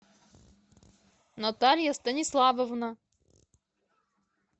наталья станиславовна